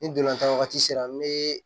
Ni dolantan waati sera n be